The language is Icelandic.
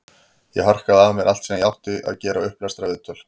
Ég harkaði af mér allt sem ég átti að gera, upplestra, viðtöl.